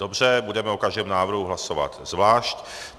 Dobře, budeme o každém návrhu hlasovat zvlášť.